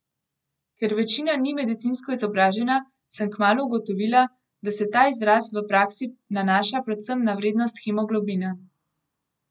Ker večina ni medicinsko izobražena, sem kmalu ugotovila, da se ta izraz v praksi nanaša predvsem na vrednost hemoglobina.